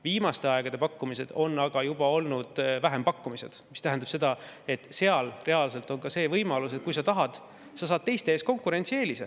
Viimaste aegade pakkumised on aga juba olnud vähempakkumised, mis tähendab seda, et seal reaalselt on ka see võimalus, et kui sa tahad, siis sa saad teiste ees konkurentsieelise.